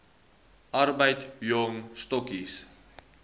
arbeid jong stokkies